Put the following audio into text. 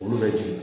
Olu bɛ jigin